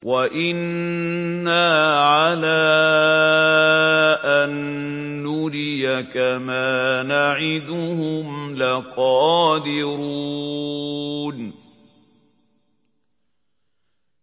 وَإِنَّا عَلَىٰ أَن نُّرِيَكَ مَا نَعِدُهُمْ لَقَادِرُونَ